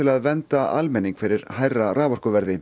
að vernda almenning fyrir hærra raforkuverði